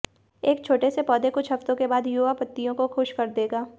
एक छोटे से पौधे कुछ हफ्तों के बाद युवा पत्तियों को खुश कर देगा